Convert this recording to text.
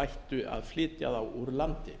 að flytja þá úr landi